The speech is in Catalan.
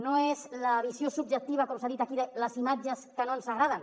no és la visió subjectiva com s’ha dit aquí de les imatges que no ens agraden